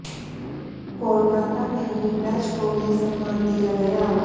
कोलकाता में ही डच को ये सम्मान दिया गया